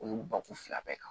O y'u bakun fila bɛɛ kan